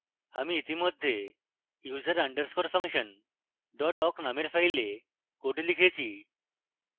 আমি ইতিমধ্যে user _ function awk named file code লিখেছি